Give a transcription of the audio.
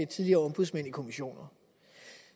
tidligere ombudsmænd i kommissioner